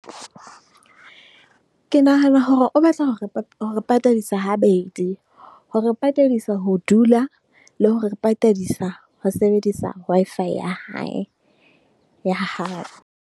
Ke nahana hore o batla hore patadisa habedi. Hore patadisa ho dula le ho re patadisa ho sebedisa Wi-Fi ya hae, ya hae.